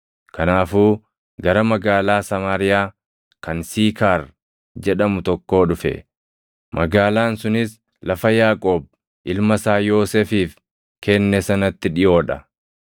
Kanaafuu gara magaalaa Samaariyaa kan Siikaar jedhamu tokkoo dhufe; magaalaan sunis lafa Yaaqoob ilma isaa Yoosefiif kenne sanatti dhiʼoo dha.